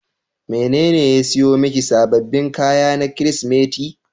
Wanene ya siyo miki sababbin kaya na Kirsimeti.